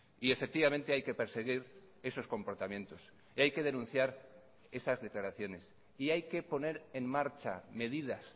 y efectivamente hay que perseguir esos comportamientos y hay que denunciar esas declaraciones y hay que poner en marcha medidas